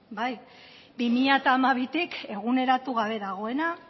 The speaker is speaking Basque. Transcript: bi mila hamabitik eguneratu gabe dagoena